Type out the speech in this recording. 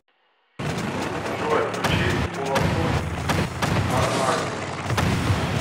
джой включи олафур арнальдс